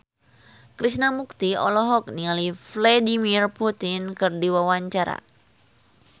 Krishna Mukti olohok ningali Vladimir Putin keur diwawancara